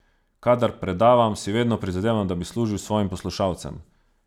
Kadar predavam, si vedno prizadevam, da bi služil svojim poslušalcem.